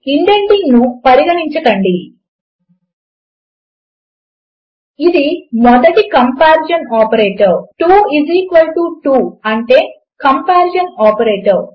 ఇండెంటింగ్ను పరిగణించకండి ఇది మొదటి కంపారిజన్ ఆపరేటర్ 2to అంటే కంపారిజన్ ఆపరేటర్